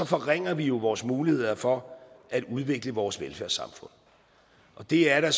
forringer vi vores muligheder for at udvikle vores velfærdssamfund og det er der